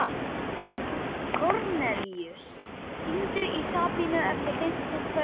Kornelíus, hringdu í Sabínu eftir fimmtíu og tvær mínútur.